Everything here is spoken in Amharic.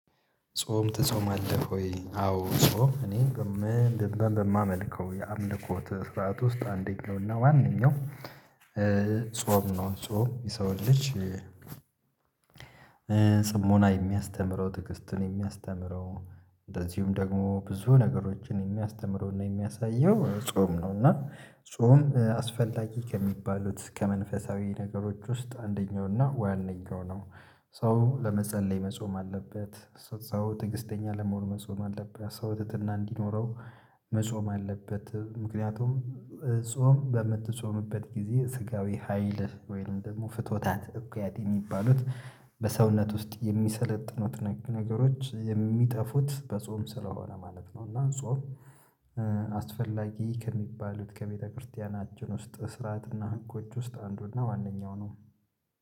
ጾም ትጾማለህ ወይ? አዎ ጾም እኔ በማመልከው የአምልኮት ስርዓት ውስጥ አንደኛው እና ዋነኛው ጾም ነው። ጾም የሰው ልጅ የሚያስተምረው ትግስትን የሚያስተምረው እንደዚሁም ደግሞ ብዙ ነገሮችን የሚያስተምረው እና የሚያሳየው ጾም ነው። እና ጾም አስፈላጊ ከሚባሉት ከመንፈሳዊ ነገሮች ውስጥ አንደኛው እና ዋናው ነው። ሰው ለመጸለይ መጾም አለበት። ሰው ትግስተኛ ለመሆን መጾም አለበት። ሰው ትህትና እንዲኖረው መጾም አለበት። ምክንያቱም ጾም በምትጾምበት ጊዜ ስጋዊ ሀይልህ ወይም ደግሞ ፍቶታት እኩያት የሚባሉት በሰውነት ውስጥ የሚሰለጥኑት ነገሮች የሚጠፉት በጾም ስለሆነ ማለት ነው እና ጾም አስፈላጊ ከሚባሉት ከቤተክርስቲያናችን ውስጥ ስርዓትና ህጎች ውስጥ አንዱ እና ዋነኛው ነው